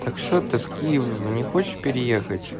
так что ты в киев не хочешь переехать